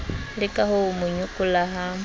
leke ho mo nyokola ha